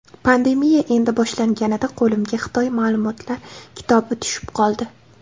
Pandemiya endi boshlanganida qo‘limga Xitoy ma’lumotlar kitobi tushib qoldi.